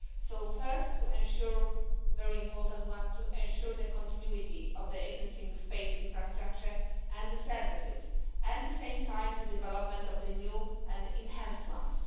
The first very important one is to ensure the continuity of the existing space infrastructure and the services, and at the same time, the development of the new and enhanced ones.